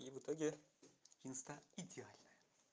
и в итоге инстаграм идеальная